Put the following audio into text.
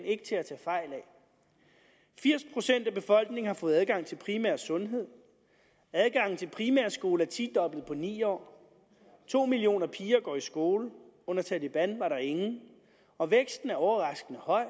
ikke til at tage fejl af firs procent af befolkningen har fået adgang til primær sundhed adgangen til primær skole er tidoblet på ni år to millioner piger går i skole under taleban var der ingen og væksten er overraskende høj